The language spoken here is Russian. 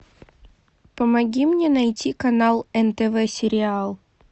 помоги мне найти канал нтв сериал